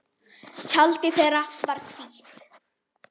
Tjaldið þeirra var hvítt.